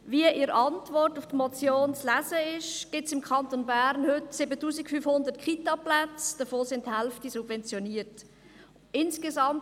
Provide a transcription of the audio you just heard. Wie in der Antwort auf die Motion zu lesen ist, gibt es im Kanton Bern heute 7500 Plätze in Kindertagesstätten (Kitas), wovon die Hälfte subventioniert ist.